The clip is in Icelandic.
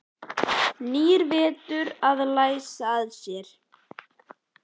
Nýr vetur að læsa að sér.